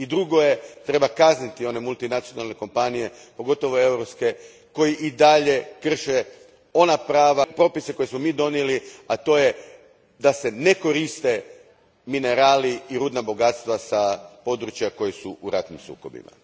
I drugo, treba kazniti one multinacionalne kompanije, pogotovo europske, koje i dalje krše one propise koje smo mi donijeli, a to je da se ne koriste minerali i rudna bogatstva s područja koja su u ratnim sukobima.